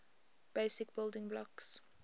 basic building blocks